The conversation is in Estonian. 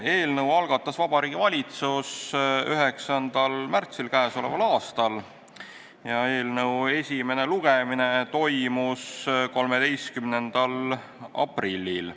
Eelnõu algatas Vabariigi Valitsus 9. märtsil käesoleval aastal ja esimene lugemine toimus 13. aprillil.